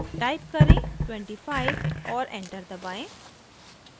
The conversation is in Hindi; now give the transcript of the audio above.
टाइप करें 25 और एंटर दबाएं